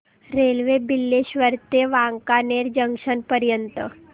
railway Bileshwar ते Wankaner junction पर्यंत